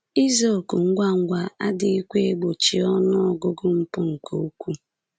Ịza òkù ngwa ngwa adịghịkwa egbochi ọnụ ọgụgụ mpụ nke ukwuu.